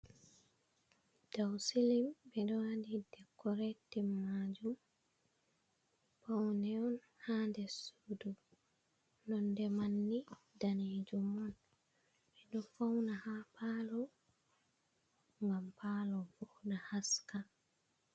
Daw silim ɓeɗo waɗi dekoretin majum paune on hade sudu nonde manni danejum on, ɓeɗo fauna ha palo ngam palo voɗa haska.